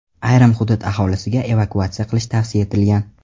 Ayrim hudud aholisiga evakuatsiya qilish tavsiya etilgan.